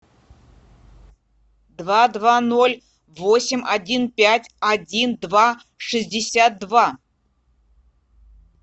два два ноль восемь один пять один два шестьдесят два